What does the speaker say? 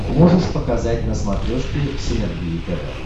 можешь показать на смотрешке синергия тв